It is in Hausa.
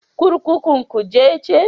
Kurkukun Kuje ce.